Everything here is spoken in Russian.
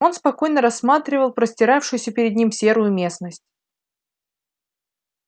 он спокойно рассматривал простиравшуюся перед ним серую местность